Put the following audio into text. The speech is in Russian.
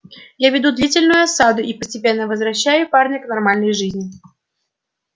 я веду длительную осаду и постепенно возвращаю парня к нормальной жизни